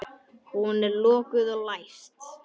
Hún er lokuð og læst.